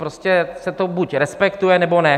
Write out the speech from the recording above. Prostě se to buď respektuje, nebo ne.